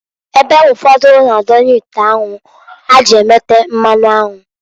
Ebe ụfọdụ na-adonye ite anwu ha ji emete mmanụ anwụ.